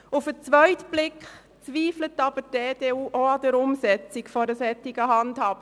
– Auf den zweiten Blick zweifelt aber auch die EDU an der Umsetzung einer solchen Handhabung.